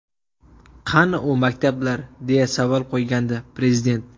Qani u maktablar?”, deya savol qo‘ygandi Prezident.